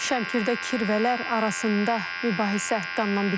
Şəmkirdə kirvələr arasında mübahisə qanla bitib.